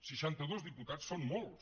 seixantados diputats són molts